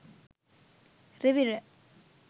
rivira